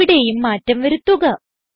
ഇവിടേയും മാറ്റം വരുത്തുക